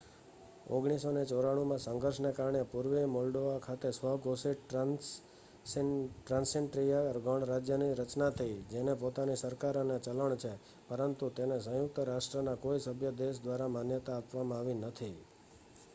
1994 માં આ સંઘર્ષને કારણે પૂર્વીય મોલ્ડોવા ખાતે સ્વઘોષિત ટ્રાન્સનિસ્ટ્રિયા ગણરાજ્યની રચના થઈ જેની પોતાની સરકાર અને ચલણ છે પરંતુ તેને સંયુક્ત રાષ્ટ્રના કોઈ સભ્ય દેશ દ્વારા માન્યતા આપવામાં આવી નથી